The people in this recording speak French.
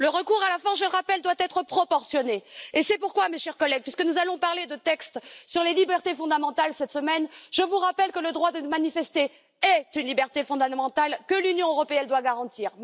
Le recours à la force, je le rappelle, doit être proportionné et c'est pourquoi, mes chers collègues, puisque nous allons parler de textes sur les libertés fondamentales cette semaine, je vous rappelle que le droit de manifester est une liberté fondamentale que l'Union européenne doit garantir.